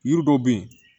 Yiri dɔw be yen